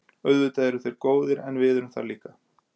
Auðvitað eru þeir góðir en við erum það líka.